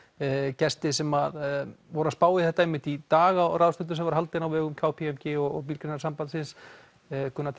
gesti sem voru að spá í þetta einmitt í dag á ráðstefnu sem var haldin á vegum k p m g og Bílgreinasambandsins Gunnar